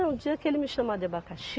Não, o dia que ele me chamar de abacaxi,